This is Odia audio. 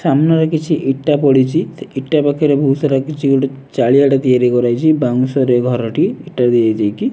ସାମ୍ନାରେ କିଛି ଇଟା ପଡ଼ିଚି ଇଟା ପାଖରେ ବୋହୁତ ସାରା କିଛି ଗୋଟେ ଚାଳିଆ ଟେ ତିଆରି କରାହେଇଚି ବାଉଁଶରେ ଘରଟି ଇଟା ଦେଇଦେଇକି।